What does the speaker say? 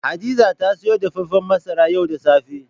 Hadiza ta sayo dafafen masara yau da safe.